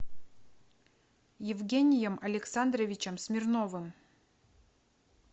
евгением александровичем смирновым